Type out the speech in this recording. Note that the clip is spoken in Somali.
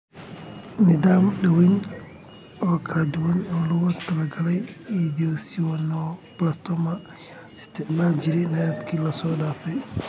Nidaamyo daaweyn oo kala duwan oo loogu talagalay esthesioneuroblastoma ayaa la isticmaali jiray sannadihii la soo dhaafay.